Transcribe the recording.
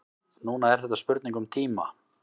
Núna er þetta spurning um tíma.